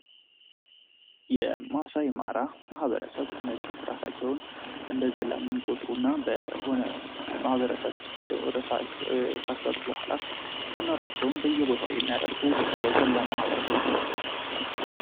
የማሳይ ማራ ማህበረሰብ እነዚህ እራሳቸውን እንደ ዘላን የሚቆጥሩ እና በሆነ በሆነ ማህበረሰብ ሂደው ካስጋጡ በኋላ አራሳቸውን በየቦታው የሚያደርጉ የዘላን ማህበረ ሰቦች ናቸው።